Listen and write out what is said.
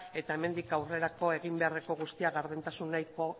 eta hemendik aurrerako egin beharreko guztia gardentasuneko